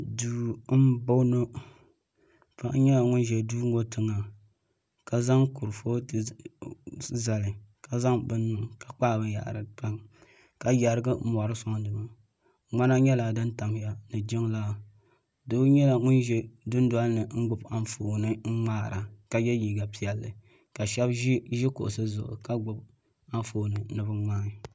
Duu m boŋɔ paɣa nyɛla ŋun ʒi duu ŋɔ tiŋa ka zaŋ kurupotu n zali ka zaŋ bini niŋ ka kpaagi binyɛri pam niŋ ka yerigi mori soŋ di gbini ŋmana nyɛla din tamya ni jiŋlaa doo nyɛla ŋun ʒɛ dundolini n gbibi anfooni n ŋmahira ka ye liiga piɛlli ka sheba ʒi kuɣusi zuɣu ka gbibi anfooni ni bɛ ŋmaagi.